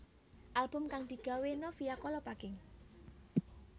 Album kang digawé Novia Kolopaking